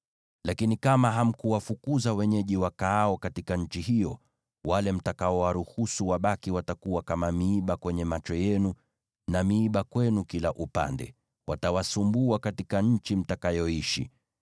“ ‘Lakini kama hamkuwafukuza wenyeji wakaao katika nchi hiyo, wale mtakaowaruhusu wabaki watakuwa kama sindano kwenye macho yenu na miiba kwenu kila upande. Watawasumbua katika nchi mtakayoishi.